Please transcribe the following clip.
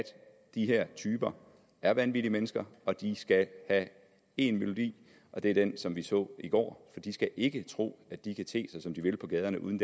de her typer er vanvittige mennesker og de skal have én melodi og det er den som vi så i går for de skal ikke tro at de kan te sig som de vil på gaderne uden